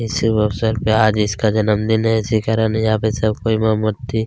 इस शुभ अवसर पे आज इसका जन्मदिन है इसी कारण यहाँ पे सब कोई मोमबत्ती--